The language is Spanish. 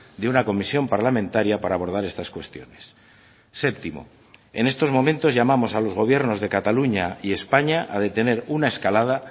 de una comisión parlamentaria para abordar estas cuestiones séptimo en estos momentos llamamos a los gobiernos de cataluña y españa a detener una escalada